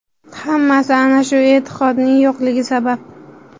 Hammasi – ana shu e’tiqodning yo‘qligi sabab.